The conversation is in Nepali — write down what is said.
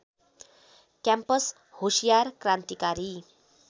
क्याम्पस होसियार क्रान्तिकारी